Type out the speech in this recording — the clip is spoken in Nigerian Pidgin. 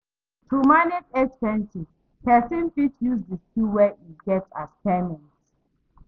To manage expenses, person fit use di skill wey im get as payment